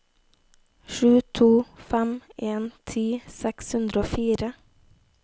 sju to fem en ti seks hundre og fire